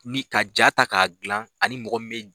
Ni ka ja ta k'a dilan ani mɔgɔ bɛ.